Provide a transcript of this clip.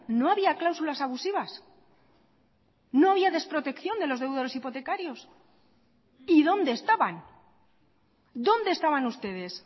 no había cláusulas abusivas no había desprotección de los deudores hipotecarios y dónde estaban dónde estaban ustedes